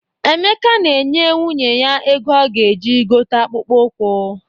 Emeka na-enye nwunye ya ego ọ ga-eji gote akpụkpọ ụkwụ.